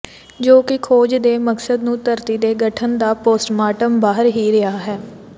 ਜੋ ਕਿ ਖੋਜ ਦੇ ਮਕਸਦ ਨੂੰ ਧਰਤੀ ਦੇ ਗਠਨ ਦਾ ਪੋਸਟਮਾਰਟਮ ਬਾਹਰ ਹੀ ਰਿਹਾ ਹੈ